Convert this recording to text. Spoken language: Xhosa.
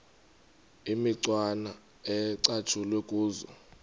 imicwana ecatshulwe kuzo